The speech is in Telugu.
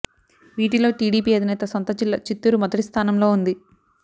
వీటిలో టీడీపీ అధినేత సొంత జిల్లా చిత్తూరు మొదటి స్ధానంలో ఉంది